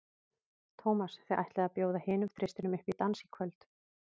Tómas, þið ætlið að bjóða hinum þristinum upp í dans í kvöld?